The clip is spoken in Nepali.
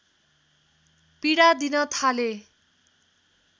पीडा दिन थाले